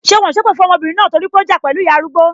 Ṣé wọn ò sépè fún ọmọbìnrin náà torí pé ó ja pẹlu ìyá arúgbó?